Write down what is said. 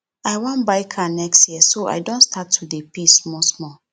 i wan buy car next year so i don start to dey pay small small